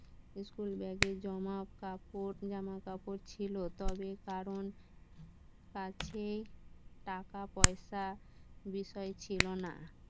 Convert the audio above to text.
school ব্যাগের জমা, কাপড়, জামা, কাপড় ছিল তবে কাছে টাকা পয়সা, বিষয় ছিল না